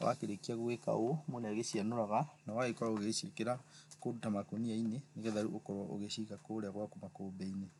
Wakĩrĩkia gũgĩka ũũ mũndũ nĩ agĩcianũraga na ũgakorwo ũgĩciĩkĩra kũndũ ta makũnia-inĩ nĩgetha rĩu ũkorwo ũgĩciga kũrĩa gwaku makũmbĩ-inĩ.